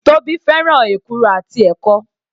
Tóbi fẹ́ràn èkuru àti ẹ̀kọ.